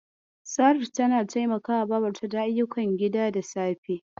Saratu ta taimaka babarta da ayyukan gida da safe.